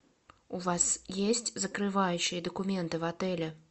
у вас есть закрывающие документы в отеле